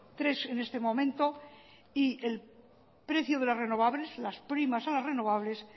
tres en este momento y el precio de las renovables las primas a la renovables